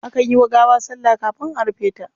Akan yi wa gawa sallah kafin a rufe ta.